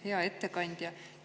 Hea ettekandja!